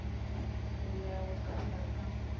nḓila ya u katela kha